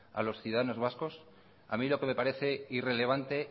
a los ciudadanos vascos a mí lo que me parece irrelevante